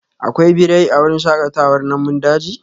Akwai birai a wurin shakatawar namun daji?